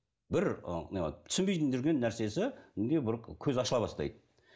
бір түсінбейтін жүрген нәрсесі көз ашыла бастайды